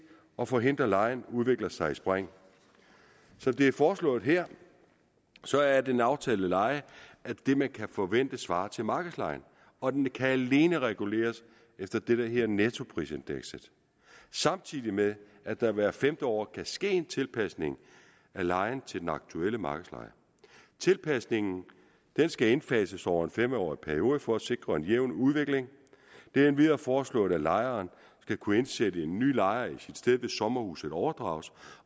at forhindre at lejen udvikler sig i spring som det er foreslået her så er den aftalte leje det man kan forvente svarer til markedslejen og den kan alene reguleres efter det der hedder nettoprisindekset samtidig med at der hvert femte år kan ske en tilpasning af lejen til den aktuelle markedsleje tilpasningen skal indfases over en fem årig periode for at sikre en jævn udvikling det er endvidere foreslået at lejeren skal kunne indsætte en ny lejer i sit sted hvis sommerhuset overdrages